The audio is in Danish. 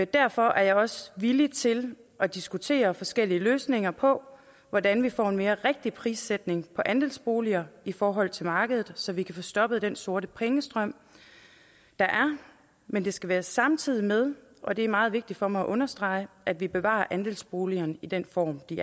derfor er jeg også villig til at diskutere forskellige løsninger på hvordan vi får en mere rigtig prissætning på andelsboliger i forhold til markedet så vi kan få stoppet den sorte pengestrøm der er men det skal være samtidig med og det er meget vigtigt for mig at understrege at vi bevarer andelsboligerne i den form de